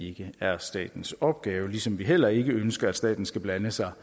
ikke er statens opgave ligesom vi heller ikke ønsker at staten skal blande sig